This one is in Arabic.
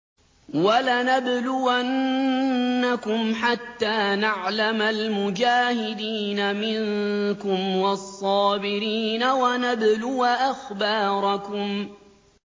وَلَنَبْلُوَنَّكُمْ حَتَّىٰ نَعْلَمَ الْمُجَاهِدِينَ مِنكُمْ وَالصَّابِرِينَ وَنَبْلُوَ أَخْبَارَكُمْ